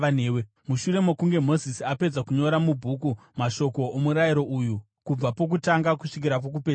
Mushure mokunge Mozisi apedza kunyora mubhuku mashoko omurayiro uyu kubva pokutanga kusvikira pokupedzisira,